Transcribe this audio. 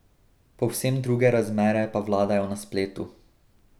Povsem druge razmere pa vladajo na spletu.